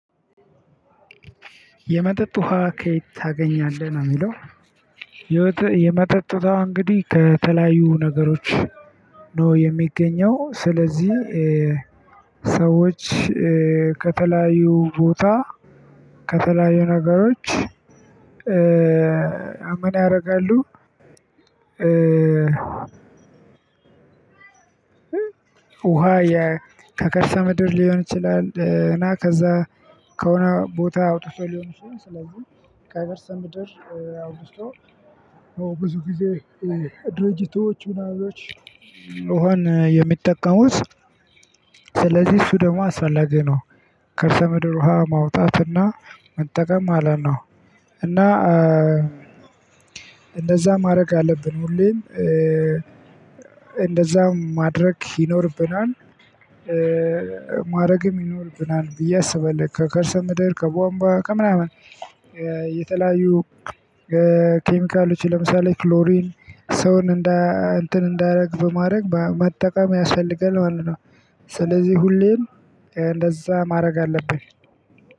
የመጠጥ ውሃ ከየት ታገኛለህ ነው የሚለው? የመጠጥ ውሃ እንግዲህ ከተለያዩ ነገሮች ነው የሚገኘው። ስለዚህ ሰዎች ከተለያዩ ቦታ ከተለያዩ ነገሮች። ምን ያደርጋሉ? ውሃ ከከርሰ ምድር ሊሆን ይችላል። እና ከዛ ከሆነ ቦታ አውጥቶ ሊሆን ይችላል። ስለዚህ ከከርሰ ምድር አውጥቶ ብዙ ጊዜ ድርጅቶች ምናምኖች ውሃን የሚጠቀሙት ስለዚህ እሱ ደግሞ አስፈላጊ ነው። ከርሰ ምድር ውሃ ማውጣት እና መጠቀም ማለት ነው። እና እንደዛ ማድረግ አለብን ሁሌም እንደዛ ማድረግ ይኖርብናል። ማድረግም ይኖርብናል ብዬ አስባለው። ከከርሰ ምድር ከቧንቧ ከምናምን የተለያዩ ኬሚካሎች ለምሳሌ ክሎሪን ሰውን እንዳ እንትን እንዳያደርግ በማድረግ በመጠቀም ያስፈልጋል ማለት ነው። ስለዚህ ሁሌም እንደዛ ማድረግ አለብን።